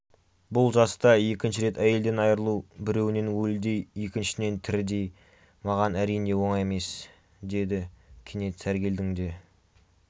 бұл жаста екінші рет әйелден айрылу біреуінен өлідей екіншісінен тірідей маған әрине оңай емес деді кенет сәргелдің де